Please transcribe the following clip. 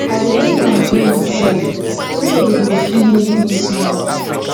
i dey make my money myself nobody go fit make me small